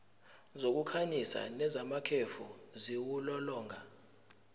zokukhanyisa nezamakhefu ziwulolonga